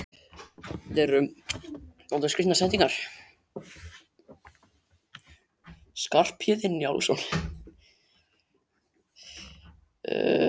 Skarphéðinn Njálsson strauk um magann og stundi öðru sinni.